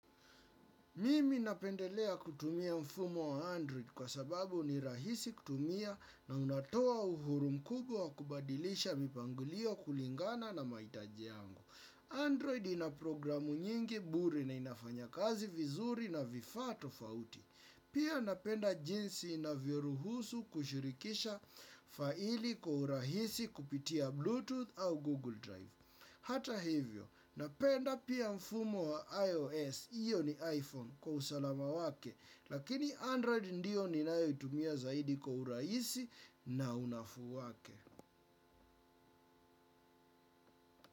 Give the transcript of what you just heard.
Mimi napendelea kutumia mfumo wa Android kwa sababu ni rahisi kutumia na unatoa uhuru mkubwa wa kubadilisha mipangilio kulingana na maitaji yangu. Android inaprogramu nyingi bure na inafanya kazi vizuri na vifaa tofauti. Pia napenda jinsi inavyoruhusu kushurikisha faili kwa uhurahisi kupitia Bluetooth au Google Drive. Hata hivyo, napenda pia mfumo wa iOS, iyo ni iPhone kwa usalama wake, lakini Android ndio ninayo itumia zaidi kwa urahisi na unafuu wake.